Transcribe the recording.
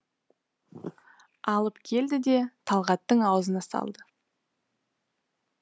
алып келді де талғаттың аузына салды